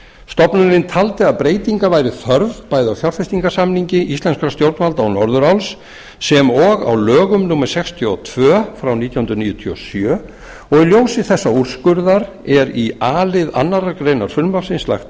stofnunin taldi að breytinga væri þörf bæði á fjárfestingarsamningi íslenskra stjórnvalda og norðuráls e h f sem og á lögum númer sextíu og tvö nítján hundruð níutíu og sjö í ljósi þessa úrskurðar er í a lið annarrar greinar frumvarpsins lagt